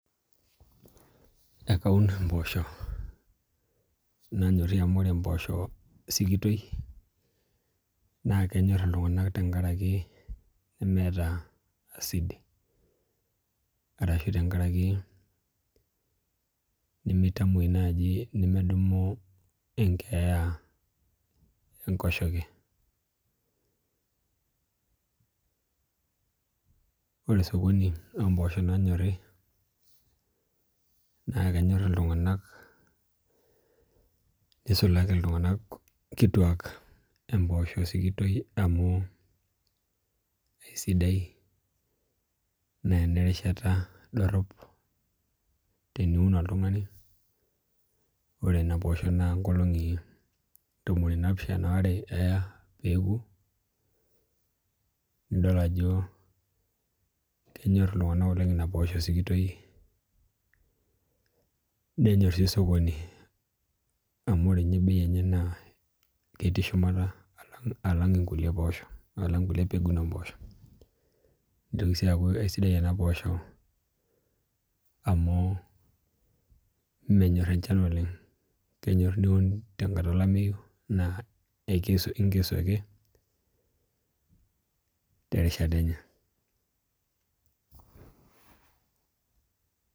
Ekaun imboosho nanyorhiki amu ore emboosho sikitoi naa kenyor iltunganak tengaraki meeta acid arashu tenkaraki nimitamuoi naaji medumu enkeeya enkoshoke Ore sokoni oomboosho naanyori naa kenyor iltung'anak nisulaki iltunganak kituak emboosho sikitoi amu aisidai naa enerishata dorhop teniun oltung'ani ore ina poosho naa inkolong'i tomoni naapishana oaere eya peeoku nidol ajo kenyor iltung'anak oleng ina posho sikitoi nenyor sii sokoni amu ore ninye bei enye naa ketii shumata alang' nkulie poosho alang nkulie pegun oomboosho nitoki sii aaku sidai ena amu menyor enchan oleng kenyor niun tenkata olameyu naa inkesu ake terishata enye